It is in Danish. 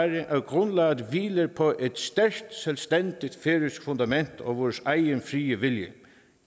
at grundlaget hviler på et stærkt selvstændigt færøsk fundament og vores egen frie vilje